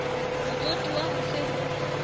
motsotuwa ho se ho se